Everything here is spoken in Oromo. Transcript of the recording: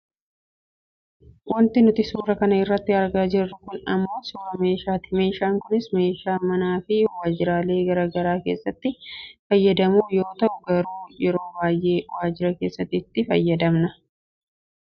Wanti nuti suura kana irratti argaa jirru kun ammoo suuraa meeshaati . Meeshaan kunis meeshaa manaafi waajiralee gara garaa keessatti itti fayyadamnu yoo ta'u garuu yeroo baayyee waajira keessatti itti fayyadamna.